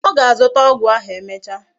O ga-azuta ogwu ahu emecha